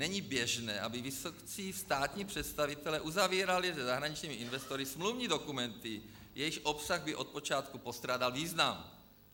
Není běžné, aby vysocí státní představitelé uzavírali se zahraničními investory smluvní dokumenty, jejichž obsah by od počátku postrádal význam.